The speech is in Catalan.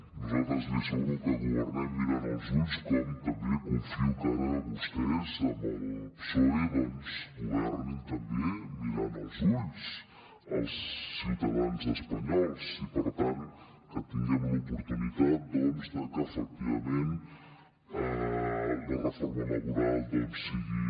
nosaltres li asseguro que governem mirant als ulls com també confio que ara vostès amb el psoe doncs governin també mirant als ulls als ciutadans espanyols i per tant que tinguem l’oportunitat que efectivament la reforma laboral sigui